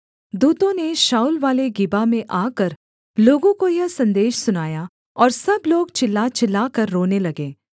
दूतों ने शाऊलवाले गिबा में आकर लोगों को यह सन्देश सुनाया और सब लोग चिल्ला चिल्लाकर रोने लगे